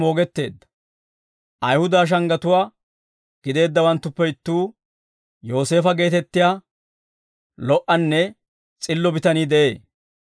Ayihuda shanggatuwaa gideeddawanttuppe ittuu, Yooseefo geetettiyaa lo"anne s'illo bitanii de'ee.